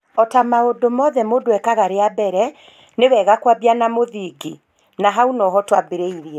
Ota maũndũ mothe mũndũ ekaga rĩa mbere, nï wega kwambia na mũthingi! Na hau noho twambĩrĩirie